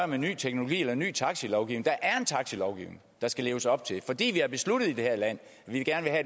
med ny teknologi eller ny taxilovgivning der er en taxilovgivning der skal leves op til fordi vi har besluttet i det her land at vi gerne